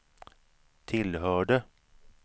tillhörde